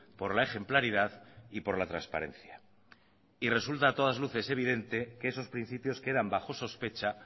por la ejemplaridad y por la transparencia y resulta a todas luces evidente que esos principios quedan bajo sospecha